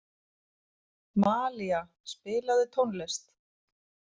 Malía, spilaðu tónlist.